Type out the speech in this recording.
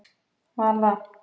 Vala